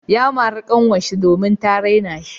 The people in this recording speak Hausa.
Ya mari kanwarsa domin ta raina shi.